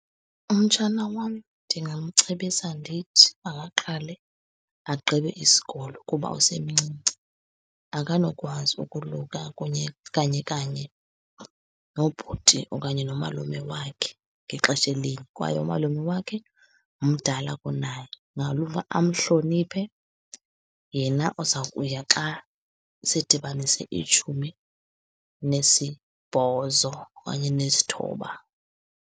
Umtshana wam ndingamcebisa ndithi, makaqale agqibe isikolo kuba usemncinci, akanokwazi ukoluka kunye kanye kanye nobhuti okanye nomalume wakhe ngexeshe linye. Kwaye umalume wakhe mdala kunaye amhloniphe, yena uza kuya xa sedibanise itshumi nesibhozo okanye nesithoba.